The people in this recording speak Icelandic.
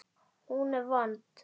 Hún er vond.